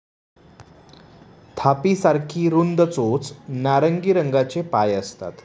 थापी सारखी रुंद चोच नारंगी रंगाचे पाय असतात.